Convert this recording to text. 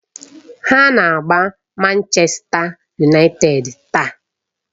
Ha na-agba Manchèsta Yunaịted taa.